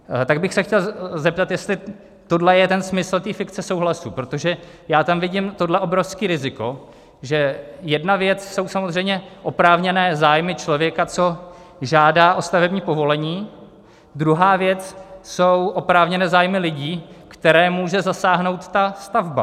Tak bych se chtěl zeptat, jestli tohle je jeden smysl té fikce souhlasu, protože já tam vidím tohle obrovské riziko, že jedna věc jsou samozřejmě oprávněné zájmy člověka, co žádá o stavební povolení, druhá věc jsou oprávněné zájmy lidí, které může zasáhnout ta stavba.